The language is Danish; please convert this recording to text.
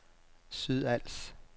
Sydals